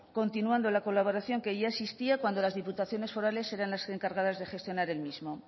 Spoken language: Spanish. continuando la colaboración que ya existía cuando las diputaciones forales eran las encargadas de gestionar el mismo